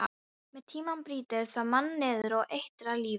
Með tímanum brýtur það mann niður og eitrar lífið.